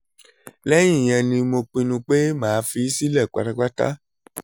lẹ́yìn ìyẹn ni mo pinnu pé màá fi í sílẹ̀ pátápátá